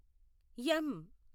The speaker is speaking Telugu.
ఎమ్